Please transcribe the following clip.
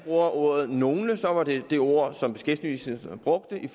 ordet nogle så var det det ord som beskæftigelsesministeren brugte i